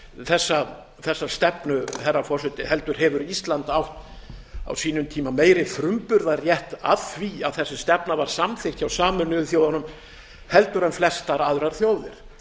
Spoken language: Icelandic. þessa stefnu herra forseti heldur hefur ísland átt á sínum tíma meiri frumburðarrétt að því að þessi stefna var samþykkt hjá sameinuðu þjónum en flestar aðrar þjóðir